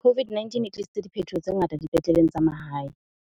COVID-19 e tlisitse diphetoho tse ngata di petleleng tsa mahae.